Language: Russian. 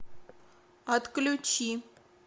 отключи